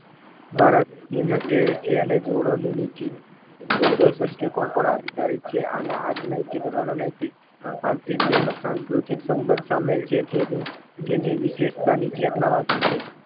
ભારતની મધ્ય એશિયાને જોડોની નીતિ પર આધારિત છે. આજ નૈતિકરણ રણનૈતિક આર્થિક તેમજ સાંસ્કૃતિક સંબંધ સામેલ છે તેની તેની વિશેષતા નીચેનામાંથી છે